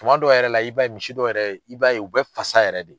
Tuma dɔ yɛrɛ la i b'a ye misi dɔw yɛrɛ i b'a ye u bɛ fasa yɛrɛ de.